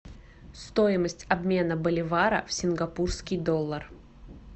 стоимость обмена боливара в сингапурский доллар